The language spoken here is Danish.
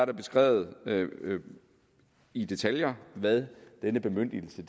er beskrevet i detaljer hvad denne bemyndigelse